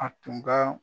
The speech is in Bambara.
A tun ka